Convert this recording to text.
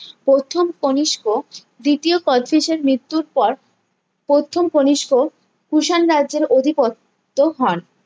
প্রথম কনিস্ক দ্বিতীয় কোচটিজের মৃত্যুর পর প্রথম কনিস্ক কুষাণ রাজ্যের অধিপত্য হন